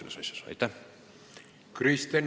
Kristen Michal, palun!